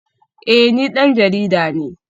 Eh ni dan jarida ne